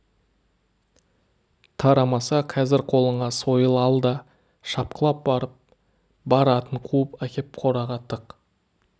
тарамаса қазір қолыңа сойыл ал да шапқылап барып бар атын қуып әкеп қораға тық